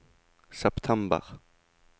september